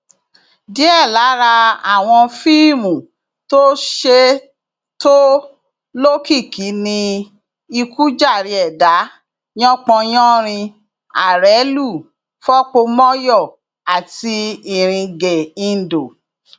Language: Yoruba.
díẹ lára àwọn fíìmù tó ṣe tó lókìkí ni ikú jàre ẹdà yanpan yanrìn arẹlú fọpomọyọ àti iringeindo